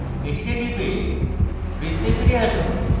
এটিতে টিপুন এবং বৃত্তে ফিরে আসুন